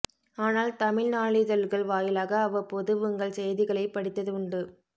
ஆனால் தமிழ் நாளிதழ்கள் வாயிலாக அவ்வப்போது உங்கள் செய்திகளைப் படித்தது உண்டு